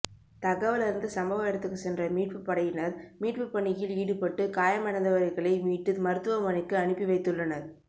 தகவல் அறிந்து சம்பவ இடத்துக்கு சென்ற மீட்பு படையினர் மீட்புப்பணியில் ஈடுபட்டு காயமடைந்தவர்களை மீட்டு மருத்துவமனைக்கு அனுப்பிவைத்துள்ளனர்